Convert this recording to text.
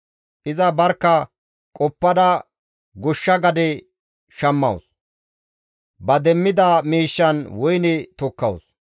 Iza barkka qoppada goshsha gade shammawus; ba demmida miishshan woyne tokkawus.